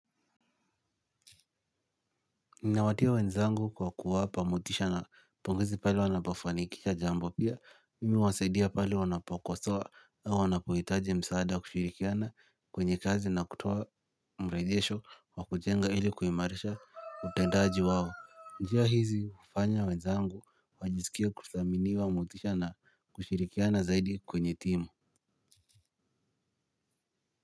Ninawatia wenzangu kwa kuwapa motisha na pongezi pale wanapofanikisha jambo pia mimi huwasaidia pale wanapakosoa na wanapohitaji msaada kushirikiana kwenye kazi na kutoa mrejesho wa kujenga ili kuimarisha utendaji wao njia hizi hufanya wenzangu wajisikie kuthaminiwa motisha na kushirikiana zaidi kwenye timu.